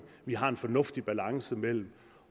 vi har en fornuftig balance mellem